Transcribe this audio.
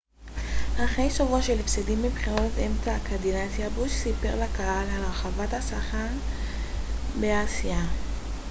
אחרי שבוע של הפסדים בבחירות אמצע הקדנציה בוש סיפר לקהל על הרחבת הסחר באסיה